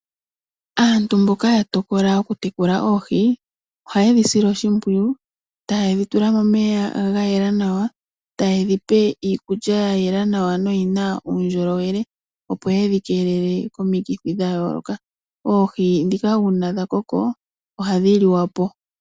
Aantu mboka ya tokola okutekula oohi ohaye dhi sile oshimpwiyu, taye dhi tula momeya ga yela nawa, taye dhi pe iikulya ya yela nawa noyi na uundjolowele, opo ye dhi keelele komikithi dha yooloka. Oohi ndhika uuna dha koko ohadhi liwa po.